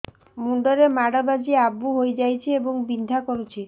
ମୁଣ୍ଡ ରେ ମାଡ ବାଜି ଆବୁ ହଇଯାଇଛି ଏବଂ ବିନ୍ଧା କରୁଛି